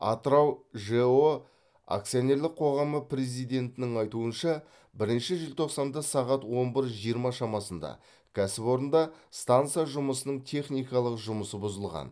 атырау жэо акционерлік қоғамы президентінің айтуынша бірінші желтоқсанда сағат он бір жиырма шамасында кәсіпорында станса жұмысының техникалық жұмысы бұзылған